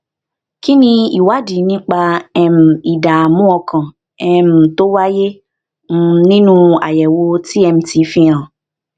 kí ni ìwádìí nípa um ìdààmú ọkàn um tó wáyé um nínú àyèwò tmt fi hàn